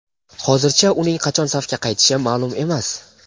Hozircha uning qachon safga qaytishi ma’lum emas.